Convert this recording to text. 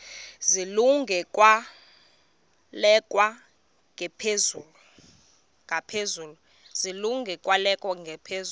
zilungele ukwalekwa ngaphezulu